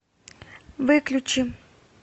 выключи